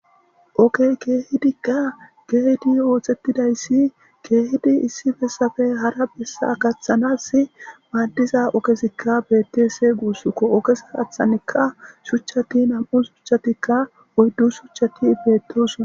Oggey kehidikka geyiddi oththetidaysii kehidi issi bessappe haara bessa gaththanas maadiza oggezikka bettes gussuko oggeza gathanikka shuchati nam'u shuchatika oyddu shuchchati bettosona.